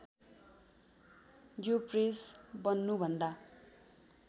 यो प्रेस बन्नुभन्दा